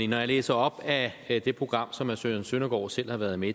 når jeg læser op af det program som herre søren søndergaard selv har været med